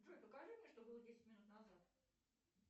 джой покажи мне что было десять минут назад